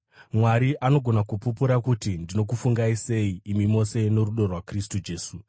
Mwari anogona kupupura kuti ndinokufungai sei imi mose norudo rwaKristu Jesu.